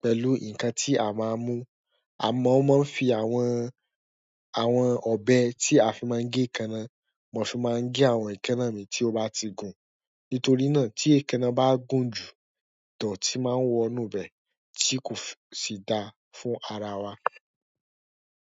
pẹ̀lú nkán ti a máa mú amọ o má fí àwọn ọbẹ ti a fì máa ge ekana, mo fi má gé àwọn ekana mí tí o ba ti gun. Nítorí na, tí ekana bá gùn jù, idọti má wọnú ibẹ ti kòsí dá fún ara wa.